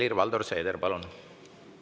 Helir-Valdor Seeder, palun!